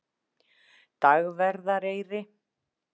Dagverðareyri